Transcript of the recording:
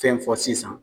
Fɛn fɔ sisan